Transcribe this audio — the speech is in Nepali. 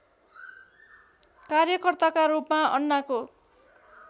कार्यकर्ताका रूपमा अन्नाको